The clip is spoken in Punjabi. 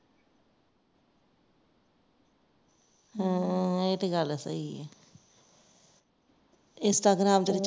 ਹੂ ਇਹ ਤੇ ਗੱਲ ਸਹੀ ਹੈ instagram ਚ